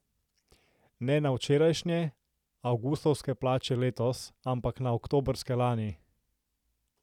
Ne na včerajšnje, avgustovske plače letos, ampak na oktobrske lani!